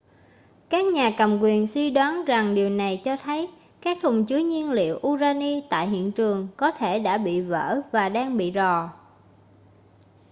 các nhà cầm quyền suy đoán rằng điều này cho thấy các thùng chứa nhiên liệu urani tại hiện trường có thể đã bị vỡ và đang bị rò